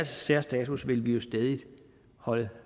særstatus vil vi jo stædigt holde